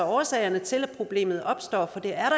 årsagen til at problemet opstår for det er